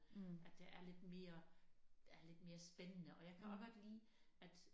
At der er lidt mere er lidt mere spændende og jeg kan også godt lide at